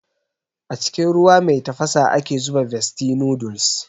A cikin ruwa mai tafasa ake zuba bestie noodles